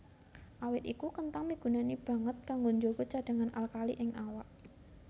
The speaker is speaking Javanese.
Awit iku kenthang migunani banget kanggo njaga cadhangan alkali ing awak